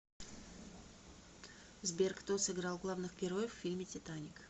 сбер кто сыграл главных героев в фильме титаник